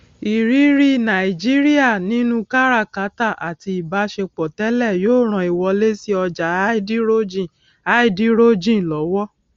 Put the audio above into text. ìrírí nàìjíríà nínú káràkátà àti ìbásepọ tẹlẹ yóò ran ìwọlé sí ọjá háídírójìn háídírójìn lọwọ